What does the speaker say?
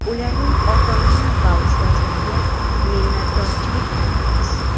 ularning ota-ona va ustozlariga minnatdorchilik bildiramiz!.